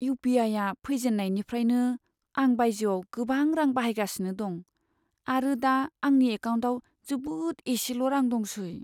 इउ.पि.आइ.आ फैजेननायनिफ्रायनो, आं बायजोयाव गोबां रां बाहायगासिनो दं आरो दा आंनि एकाउन्टाव जोबोद एसेल' रां दंसै।